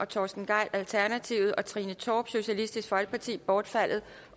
torsten gejl og trine torp bortfaldet